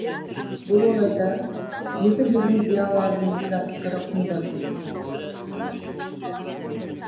бұл орайда екі елдің зиялыларының да пікірі құнды